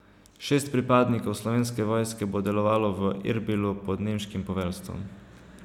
Šest pripadnikov Slovenske vojske bo delovalo v Erbilu pod nemškim poveljstvom.